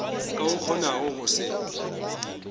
ka o kgonago go se